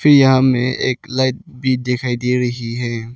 यहां में एक लाइट भी दिखाई दे रही है।